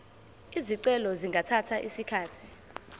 izicelo zingathatha isikhathi